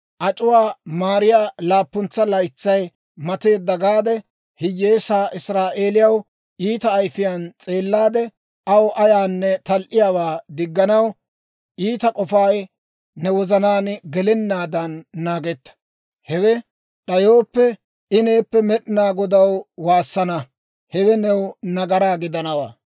‹Ac'uwaa maariyaa laappuntsa laytsay mateedda› gaade, hiyyeesaa Israa'eeliyaw iita ayifiyaan s'eellaade, aw ayaanne tal"iyaawaa digganaw iita k'ofay ne wozanaan gelennaadan naagetta. Hewe d'ayooppe, I neeppe Med'inaa Godaw waassana; hewe new nagaraa gidanawaa.